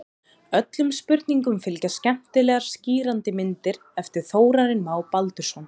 Öllum spurningum fylgja skemmtilegar og skýrandi myndir eftir Þórarinn Má Baldursson.